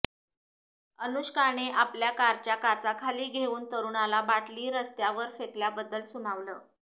अनुष्काने आपल्या कारच्या काचा खाली घेऊन तरुणाला बाटली रस्त्यावर फेकल्याबद्दल सुनावलं